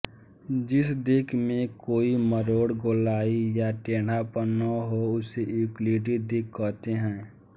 जिस दिक् में कोई मरोड़ गोलाई या टेढ़ापन न हो उसे यूक्लिडी दिक् कहते हैं